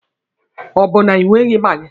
Ọ bụ na ị nweghi maagi?